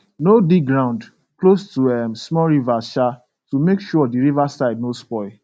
no dig ground close to um small rivers um to make sure the river side no spoil